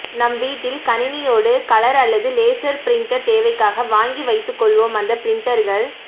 நம் வீட்டில் கணினியோடு கலர் அல்லது லேசர் பிரின்டர் தேவைக்காக வாங்கி வைத்துக்கொள்வோம் அந்த பிரன்டர்கள்